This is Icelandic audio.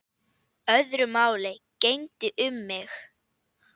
Öðru máli gegndi um mig.